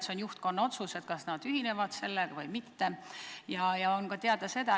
See on juhtkonna otsus, kas nad ühinevad sellega või mitte.